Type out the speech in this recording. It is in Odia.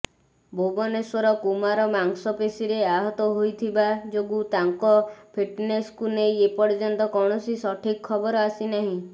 ଭୁବନେଶ୍ୱର କୁମାର ମାଂସପେଶୀରେ ଆହତ ହୋଇଥିବା ଯୋଗୁଁ ତାଙ୍କ ଫିଟନେସକୁ ନେଇ ଏପର୍ଯ୍ୟନ୍ତ କୌଣସି ସଠିକ ଖବର ଆସିନାହିଁ